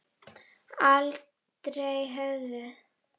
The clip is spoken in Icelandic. Aldrei höfðu